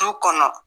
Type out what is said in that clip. Du kɔnɔ